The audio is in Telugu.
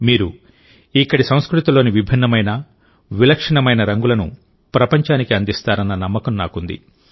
మీరు ఇక్కడి సంస్కృతిలోని విభిన్నమైన విలక్షణమైన రంగులను ప్రపంచానికి అందిస్తారన్న నమ్మకం నాకుంది